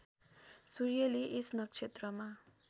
सूर्यले यस नक्षत्रमा